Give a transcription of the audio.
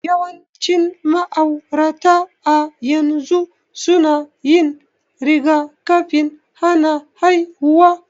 Yawancin ma'aurata a yanzu suna yin rigakafin hana haihuwa.